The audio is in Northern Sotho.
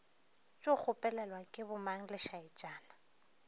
tšo kgopelelwa ke bomang lešaetšana